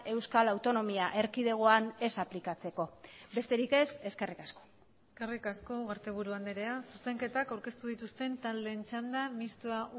euskal autonomia erkidegoan ez aplikatzeko besterik ez eskerrik asko eskerrik asko ugarteburu andrea zuzenketak aurkeztu dituzten taldeen txanda mistoa